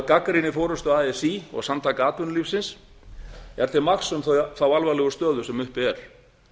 gagnrýni forystu así og samtaka atvinnulífsins er til marks um þá alvarlegu stöðu sem uppi er